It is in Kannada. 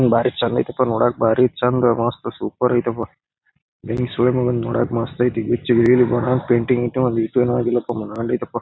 ಬಾರಿ ಚಂದ್ ಐತೆ ಪ್ಪಾ ನೋಡಕೆ ಬಾರಿ ಚಂದ್ ಮಸ್ತ್ ಸೂಪರ್ ಐತಪ್ಪ ಹೇ ಸೂಳೆಮಗಂದು ನೋಡಕೆ ಮಸ್ತ್ ಐತೆ ಗಿಚ್ಚಿ ಗಿಲಿ ಗಿಲಿ ಅಯ್ತಿ ಪೇಂಟಿಂಗ್ ಗಿಂಟಿಂಗ್ ಒಂದಿಟು ಎನು ಅಗಿಲ್ಲಪಾ ಮನಗಂಡ ಐತಪ.